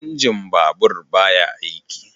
Injin babur ba ya aiki